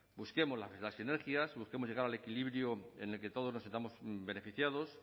busquemos las sinergias busquemos llegar al equilibrio en el que todos nos sintamos beneficiados